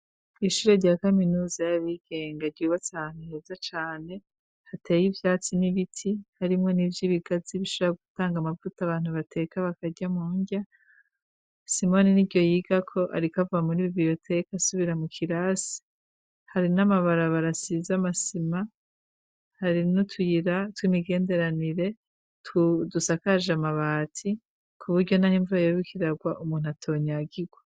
Ishure rya kaminuza y'abigenga ryubatsanteza cane hateye ivyatsi n'ibiti harimwo n'ivyo ibigazi bishara gutanga amavuta abantu bateka bakarya mu ndya simoni ni ryo yigako arikava muri bibiyoteka asubira mu kirasi hari n'amabara barasiza amasima hari ira twimigenderanire tudusakaje amabati ku buryo, naho imvura yorukiragwa umuntu atonyagirwa.